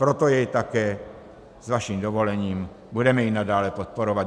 Proto jej také s vaším dovolením budeme i nadále podporovat.